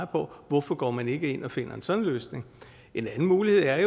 på hvorfor går man ikke ind og finder sådan en løsning en anden mulighed er